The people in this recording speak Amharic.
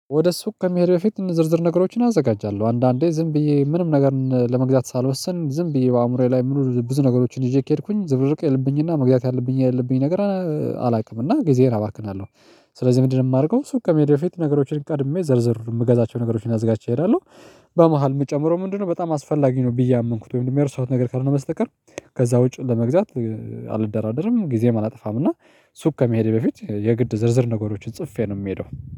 ወደ ሱቅ ከመሄድ በፊት ዝርዝር ነገሮችን አዘጋጃለሁ አንዳንዴ ዝም ብዬ ምንም ነገር ለመግዛት ሳልወስን ዝም ብዬ በአእምሮዬ ላይ ምኑር ብዙ ነገሮችን ይዤ ከሄድኩኝ ዝብርቅ የለብኝ እና መግዛት ያለብኝ ያለብኝ ነገር አላውቅም እና ጊዜህን አባክናለሁ። ስለዚህ ምንድነው የማደርገው? ሱቅ ከመዳፌ በፊት ነገሮችን ቀድሜ ዘርዝሩ የምገዛቸው ነገሮችን አዝጋች እሄዳለሁ። በመሃል የምጨምረው ምንድነው በጣም አስፈላጊ ነው ብዬ ያመንኩት ወይም የረሳውት ነገር ካልሆነ በስተቀር። ከዛ ውጪ ለመግዛት አልደራደርም ጊዜም አላጠፋም እና። ሱቅ ከመሄዴ በፊት የግድ ዝርዝር ነገሮችን ጽፌ ነው የምሄደው።